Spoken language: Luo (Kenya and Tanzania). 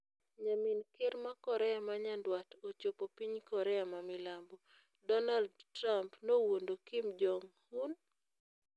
Nyamin Kerr ma Korea ma Nyanduat ochopo piny Korea ma Milambo Donal Trump nowuondo Kim Jong-Un?